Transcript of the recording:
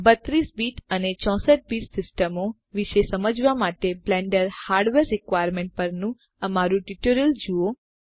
32 bit અને 64 bit સીસ્ટમો વિશે સમજવાં માટે બ્લેન્ડર હાર્ડવેર રિક્વાયરમેન્ટ્સ પરનું અમારું ટ્યુટોરીયલ જુઓ